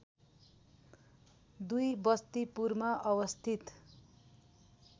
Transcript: २ बस्तिपुरमा अवस्थित